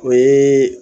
O ye